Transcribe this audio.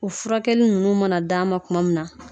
U furakɛli ninnu mana di a ma tuma min na